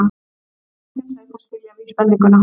Manneskjan hlaut að skilja vísbendinguna.